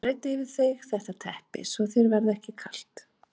Og breiddu yfir þig þetta teppi svo að þér verði ekki kalt.